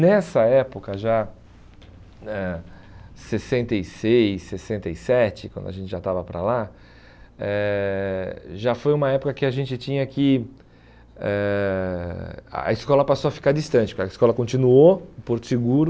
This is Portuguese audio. Nessa época já eh, sessenta e seis, sessenta e sete, quando a gente já estava para lá, eh já foi uma época que a gente tinha que eh... A escola passou a ficar distante, porque a escola continuou, o Porto Seguro,